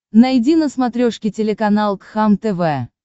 найди на смотрешке телеканал кхлм тв